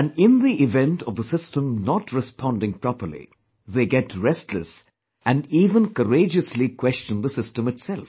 And in the event of the system not responding properly, they get restless and even courageously question the system itself